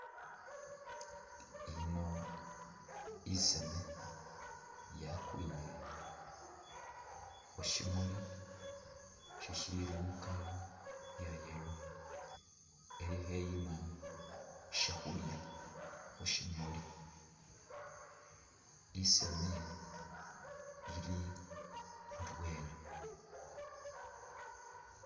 Ino isaame yakwile khushimuuli shishili mu color iya yellow ili kheyiima shakhulya khushimuuli , isaame ili indwela.